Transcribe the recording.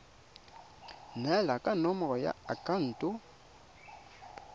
neelana ka nomoro ya akhaonto